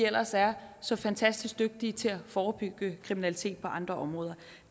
ellers er så fantastisk dygtige til at forebygge kriminalitet på andre områder